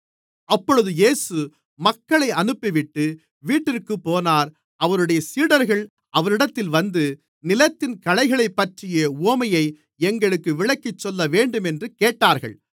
அப்பொழுது இயேசு மக்களை அனுப்பிவிட்டு வீட்டிற்குப் போனார் அவருடைய சீடர்கள் அவரிடத்தில் வந்து நிலத்தின் களைகளைப்பற்றிய உவமையை எங்களுக்கு விளக்கிச்சொல்லவேண்டுமென்று கேட்டார்கள்